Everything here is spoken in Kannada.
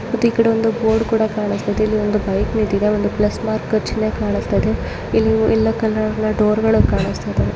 ಮತ್ ಇ ಕಡೆ ಒಂದು ಬೋರ್ಡ್ ಕೂಡ ಕಾಣುಸ್ತಾಯಿದೆ ಇಲ್ಲಿ ಒಂದು ಬೈಕ್ ನಿಂತಿದೆ ಒಂದು ಪ್ಲಸ್ ಮಾರ್ಕ್ ಚಿನ್ನೆ ಕಾಣುಸ್ತಾಯಿದೆ ಇಲ್ಲಿ ಯಲ್ಲೋ ಕಲರ್ನ ಡೋರ್ಗಳು ಕಾಣುಸ್ತಾಯಿದಾವೆ --